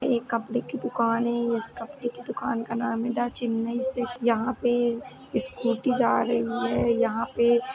ये कपड़े की दुकान है। इस कपड़े की दुकान का नाम द चेन्नई सिल्क यहाँं पे स्कूटी जा रही है। यहाँ पे --